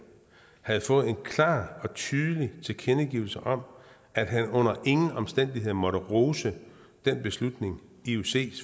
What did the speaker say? havde fået en klar og tydelig tilkendegivelse om at han under ingen omstændigheder måtte rose den beslutning iocs